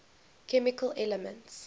chemical elements